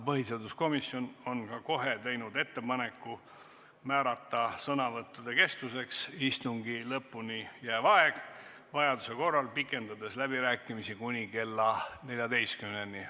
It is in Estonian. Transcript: Põhiseaduskomisjon on ka kohe teinud ettepaneku määrata sõnavõttude kestuseks istungi lõpuni jääv aeg, vajaduse korral pikendades läbirääkimisi kuni kella 14-ni.